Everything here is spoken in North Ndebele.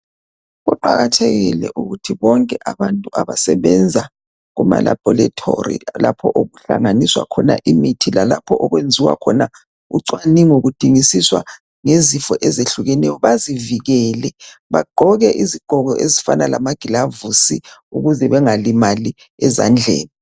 Kuqakathekile ukuthi bonke abantu abasebenza kumalabhorithori lapho okuhlanganiswa khona imithi lalapho okwenziwa khona ucwaningo kudingisiswa ngezifo ezehlukeneyo bazivikele bagqoke izigqoko ezifana lamagilavusi ukuze bengalimali ezandleni.